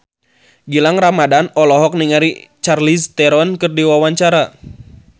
Gilang Ramadan olohok ningali Charlize Theron keur diwawancara